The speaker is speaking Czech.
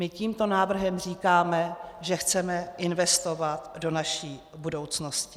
My tímto návrhem říkáme, že chceme investovat do naší budoucnosti.